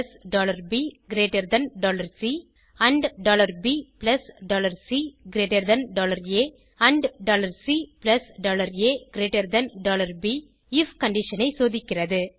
ifabசி and bcஆ and caப் IF condition ஐ சோதிக்கிறது